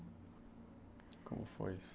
Como foi isso?